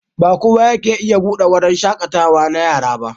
Ba kowa yake iya buɗe wurin shaƙatawa na yara ba.